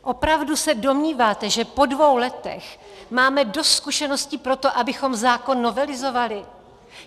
Opravdu se domníváte, že po dvou letech máme dost zkušeností pro to, abychom zákon novelizovali?